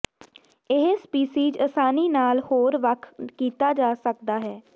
ਇਹ ਸਪੀਸੀਜ਼ ਆਸਾਨੀ ਨਾਲ ਹੋਰ ਵੱਖ ਕੀਤਾ ਜਾ ਸਕਦਾ ਹੈ